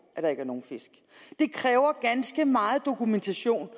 at der ikke er nogen fisk det kræver ganske meget dokumentation